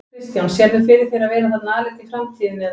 Kristján: Sérðu fyrir þér að vera þarna aleinn í framtíðinni eða?